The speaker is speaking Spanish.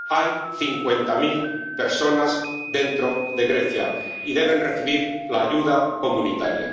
Hay cincuenta mil personas dentro de Grecia y deben recibir la ayuda comunitaria.